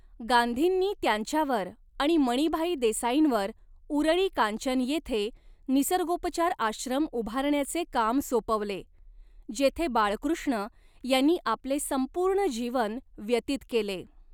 गांधींनी त्यांच्यावर आणि मणिभाई देसाईंवर उरळी कांचन येथे निसर्गोपचार आश्रम उभारण्याचे काम सोपवले, जेथे बाळकृष्ण यांनी आपले संपूर्ण जीवन व्यतीत केले.